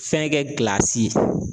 Fɛn kɛ